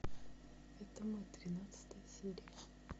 это мы тринадцатая серия